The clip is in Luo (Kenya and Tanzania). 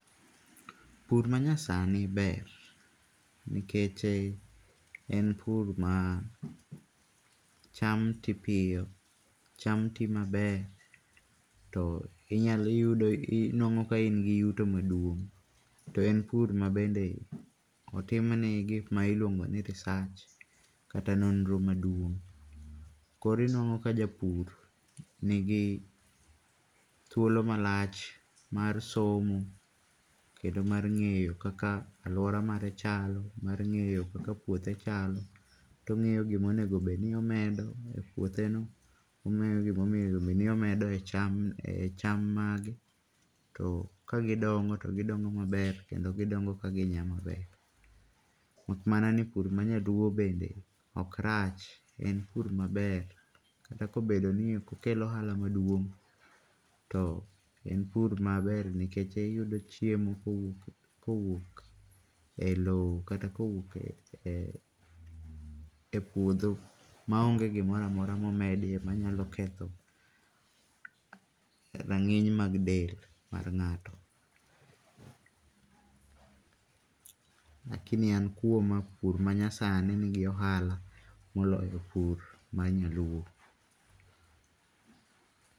Pur ma nyasani ber nikech en pur ma cham ti piyo, cham ti maber kendo to inyalo yudo ka in gi yuto maduong' to en pur ma iyudo ka otim ne gi ma iluongo ni research kata nonro maduong. Koro inuango ka japur nigi thuolo ma lach mar somo kendo mar ng'eyo ka aluora mare chalo mar ng'eyo kaka puothe chalo to ongiyo gima onego obed ni omedo e puotheno, ongeyo gima onego obed ni omedo e cham mage, to ka gi dongo to gi dongo maber kendo gi dongo ka gi nya maber mak mana ni pur ma nyaluo bende ok rach en pur maber kata ka obedo ni ok okel ohala maduong to en pur maber nikech iyudo chiemo kowuok e loo kata kowuok e puodho ma onge gi moro amora ma nyalo ketho rang'iny mag del mag ngato. Lakini an kuoma, pur manayasni ni gi ohala moloyo pur mar nyaluo.